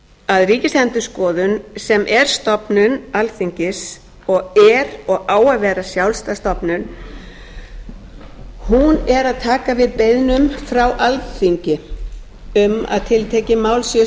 að ríkisendurskoðun sem er stofnun alþingi og er og á að vera sjálfstæð stofnun er að taka við beiðnum frá alþingi um að tiltekin mál séu